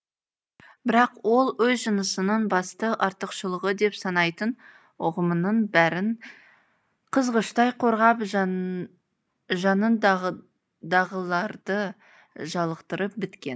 бірақ ол өз жынысының басты артықшылығы деп санайтын ұғымының бәрін қызғыштай қорғап жанындағыларды жалықтырып біткен